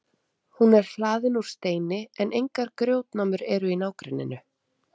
Hún er hlaðin úr steini en engar grjótnámur eru í nágrenninu.